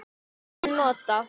Annars er en notað.